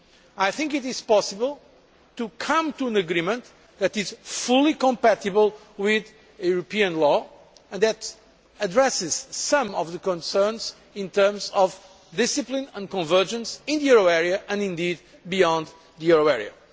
I think it is possible to come to an agreement that is fully compatible with European law and that addresses some of the concerns in terms of discipline and convergence in the euro area and indeed beyond the euro area.